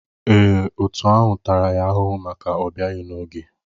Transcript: Èè, òtù ahụ tara ya ahụhụ maka ọbịaghi n'oge.